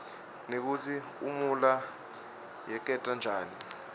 nekutsi imuula yerteka njani